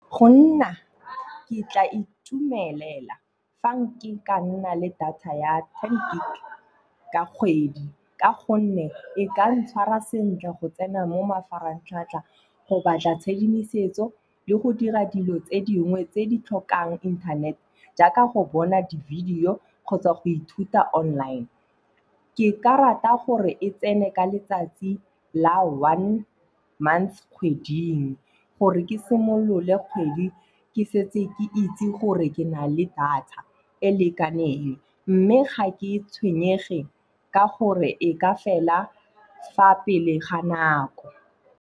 Go nna ke tla itumelela fa nka nna le data ya ten gig ka kgwedi ka gonne e ka ntshwara sentle go tsena mo mafaratlhatlha, go batla tshedimosetso le go dira dilo tse dingwe tse di tlhokang internet jaaka go bona di video kgotsa go ithuta online. Ke ka rata gore e tsene ka letsatsi la one months kgweding gore ke simolole kgwedi ke setse ke itse gore ke na le data e lekaneng. Mme ga ke tshwenyege ka gore e ka fela fa pele ga nako.